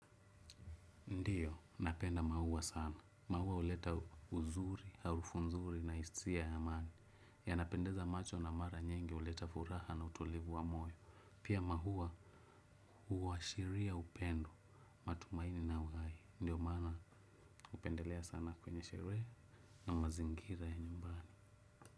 Ndio, napenda maua sana. Maua huleta uzuri, harufu nzuri na hisia ya maana. Yanapendeza macho na mara nyingi huleta furaha na utulivu wa moyo. Pia maua huashiria upendo matumaini na uhai. Ndio maana hupendelea sana kwenye sherehe na mazingira ya nyumbani.